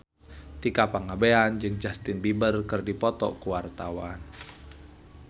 Tika Pangabean jeung Justin Beiber keur dipoto ku wartawan